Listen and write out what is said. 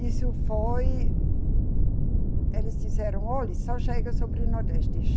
Isso foi Eles disseram, olhe, só chega sobre Nordeste.